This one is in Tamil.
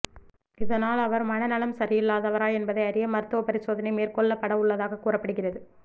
இதனால் அவர் மன நலம் சரியில்லாதவரா என்பதை அறிய மருத்துவ பரிசோதனை மேற்க்கொள்ளபடவுள்ளதாக கூறப்படுகிறது